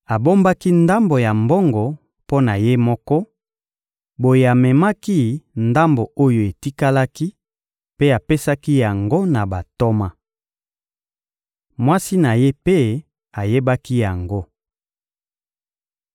Abombaki ndambo ya mbongo mpo na ye moko, boye amemaki ndambo oyo etikalaki mpe apesaki yango na bantoma. Mwasi na ye mpe ayebaki yango.